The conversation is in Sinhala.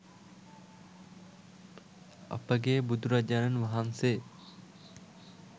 අපගේ බුදුරජාණන් වහන්සේ